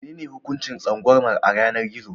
Menene hukuncin tsangwamar a yanar gizo?